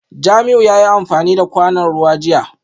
Jamiu yayi amfani da kwanon ruwan jiya